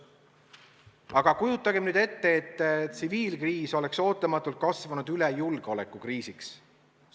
Aga kujutagem nüüd ette, et tsiviilkriis oleks ootamatult kasvanud üle julgeolekukriisiks!